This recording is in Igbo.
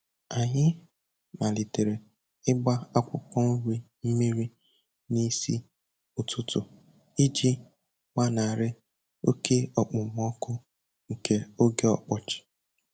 Anyị malitere ịgba akwụkwọ nri mmiri n'isi ụtụtụ iji gbanarị oke okpomọkụ nke oge ọkọchị.